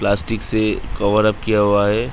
Plastic से cover up किया हुआ है ।